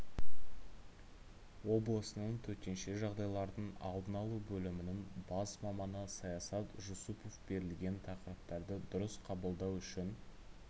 облысының төтенше жағдайлардың алдын алу бөлімінің бас маманы саят жусупов берілген тақырыптарды дұрыс қабылдау үшін